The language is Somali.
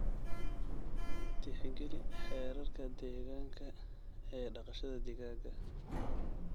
Tixgeli xeerarka deegaanka ee dhaqashada digaaga.